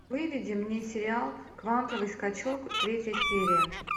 выведи мне сериал квантовый скачок третья серия